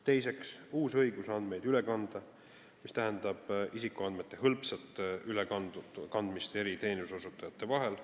Teiseks, uus õigus andmeid üle kanda, mis tähendab isikuandmete hõlpsat ülekandmist teenuseosutajate vahel.